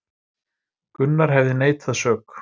Gunnar hefði neitað sök